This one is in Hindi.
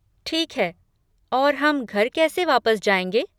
ठीक है, और हम घर कैसे वापस जाएँगे?